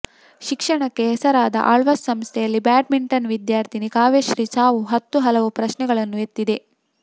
ಶಿಕ್ಷಣಕ್ಕೆ ಹೆಸರಾದ ಆಳ್ವಾಸ್ ಸಂಸ್ಥೆಯಲ್ಲಿ ಬ್ಯಾಡ್ಮಿಂಟನ್ ವಿದ್ಯಾರ್ಥಿನಿ ಕಾವ್ಯಶ್ರೀ ಸಾವು ಹತ್ತು ಹಲವು ಪ್ರಶ್ನೆಗಳನ್ನು ಎತ್ತಿದೆ